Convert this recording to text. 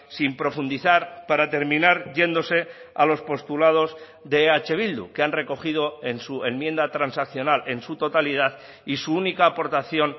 sin profundizar para terminar yéndose a los postulados de eh bildu que han recogido en su enmienda transaccional en su totalidad y su única aportación